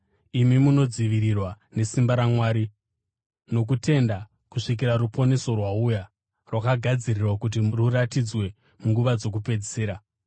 imi munodzivirirwa nesimba raMwari nokutenda kusvikira ruponeso rwauya rwakagadzirirwa kuti ruratidzwe munguva dzokupedzisira.